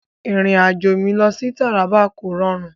Ìrìn-àjò mi sí Taraba kò rọrùn.